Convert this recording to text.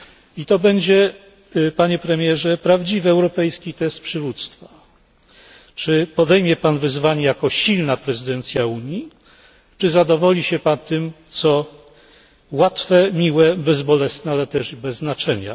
I to będzie, Panie Premierze, prawdziwy europejski test przywództwa. Czy podejmie Pan wyzwanie jako silna prezydencja Unii, czy zadowoli się Pan tym, co łatwe, miłe, bezbolesne, ale też i bez znaczenia.